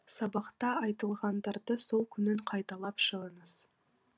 сабақта айтылғандарды сол күні қайталап шығыңыз